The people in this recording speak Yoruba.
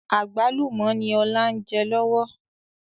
Àgbálùmọ̀ ni ọ̀la ń jẹ lọ́wọ́